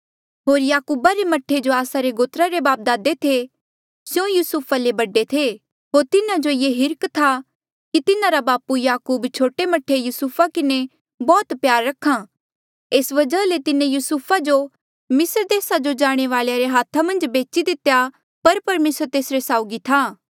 होर याकूबा रे मह्ठे जो आस्सा रे गोत्रा रे बापदादे थे स्यों युसुफा ले बडे थे होर तिन्हा जो ये हिर्ख था कि तिन्हारा बापू याकूब छोटे मह्ठे युसुफा किन्हें बौह्त प्यार रखा एस वजहा ले तिन्हें युसुफा जो मिस्र देसा जो जाणे वालेया रे हाथा मन्झ बेची दितेया पर परमेसर तेस साउगी था